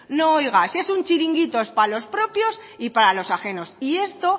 no oiga si es un chiringuito es para los propios y para los ajenos y esto